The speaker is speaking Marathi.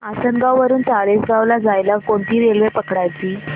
आसनगाव वरून चाळीसगाव ला जायला कोणती रेल्वे पकडायची